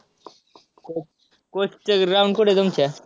coach चं ground कुठं आहे तुमच्या?